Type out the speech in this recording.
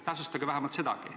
Täpsustage vähemalt sedagi.